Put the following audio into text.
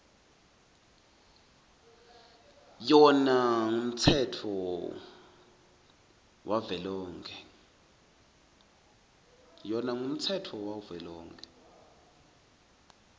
yona ngumtsetfo wavelonkhe